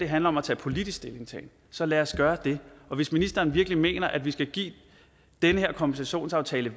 handler om at tage politisk stilling så lad os gøre det hvis ministeren virkelig mener at vi skal give den her kompensationsaftale